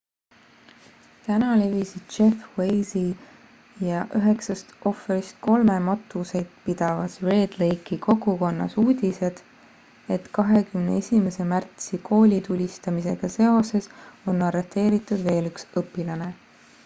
täna levisid jeff weise'i ja üheksast ohvrist kolme matuseid pidavas red lake'i kogukonnas uudised et 21 märtsi koolitulistamisega seoses on arreteeritud veel üks õpilane